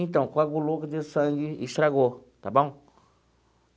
Então, coagulou o sangue e estragou, está bom?